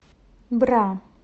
бра